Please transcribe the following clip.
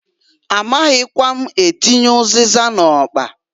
A maghikwa m atinye ụzịza n'ọkpa.